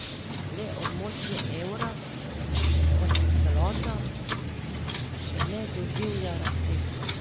Le območje evra, kot celota, še ne doživlja rasti.